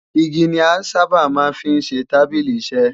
Igi ni a sáábà máa ń fi ṣe tábìlì-iṣẹ.